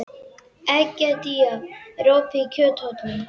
Egedía, er opið í Kjöthöllinni?